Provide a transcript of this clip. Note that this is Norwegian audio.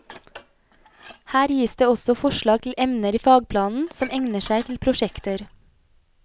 Her gis det også forslag til emner i fagplanen som egner seg til prosjekter.